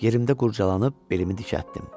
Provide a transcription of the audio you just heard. Yerimdə qurcalanıb belimi dikəltdim.